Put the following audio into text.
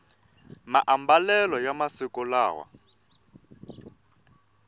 maambalelo ya masiku lawa